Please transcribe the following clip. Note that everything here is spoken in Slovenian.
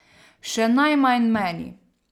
Še najmanj meni.